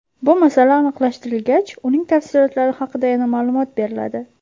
Bu masala aniqlashtirilgach, uning tafsilotlari haqida yana ma’lumot beriladi.